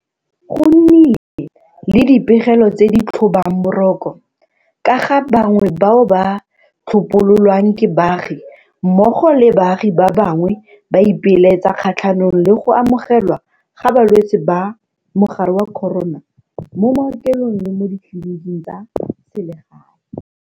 Go nnile le dipegelo tse di tlhobang boroko ka ga bangwe bao ba tlhopololwang ke baagi mmogo le baagi ba bangwe ba ipelaetsa kgatlhanong le go amogelwa ga balwetse ba mogare wa corona mo maokelong le mo ditleliniking tsa selegae.